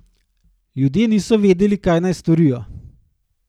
Ljudje niso vedeli, kaj naj storijo.